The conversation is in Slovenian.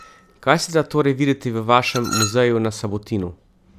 Kaj se da torej videti v vašem muzeju na Sabotinu?